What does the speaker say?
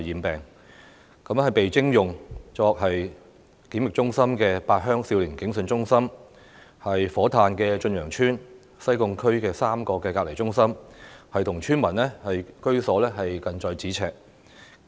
被徵用作檢疫中心的八鄉少年警訊中心、火炭駿洋邨、西貢區3個隔離中心跟村民居所近在咫尺。